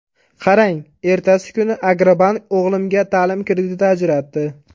Qarang, ertasi kuni ‘Agrobank’ o‘g‘limga ta’lim krediti ajratdi.